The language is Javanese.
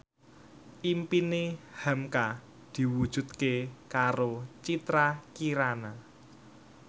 impine hamka diwujudke karo Citra Kirana